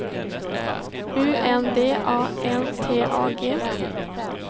U N D A N T A G